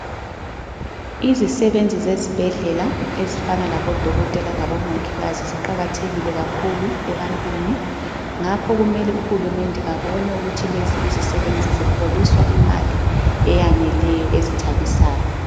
Izisebenzi zezibhedlela ezifana labodokotela labomongikazi ziqakathekile kakhulu ebantwini ,ngakho kumele uhulumende abone ukuthi lezi izisebenzi ziholiswa imali eyaneleyo ezithabisayo